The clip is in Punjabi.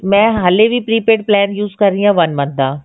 ਮੈਂ ਹੇ ਵੀ prepaid plan use ਕਰ ਰਹੀ ਹਾਂ one month ਦਾ